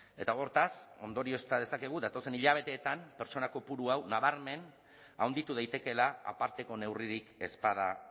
eta hortaz ondoriozta dezakegu datozen hilabeteetan pertsona kopurua nabarmen handitu daitekeela aparteko neurririk ez bada